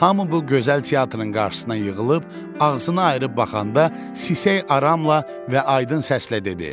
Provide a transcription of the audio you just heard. Hamı bu gözəl teatrın qarşısına yığılıb ağzını ayırıb baxanda sisək aramla və aydın səslə dedi: